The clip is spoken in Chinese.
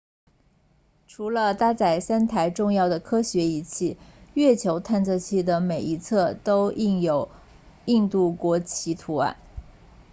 除了搭载三台重要的科学仪器月球探测器的每一侧都印有印度国旗图案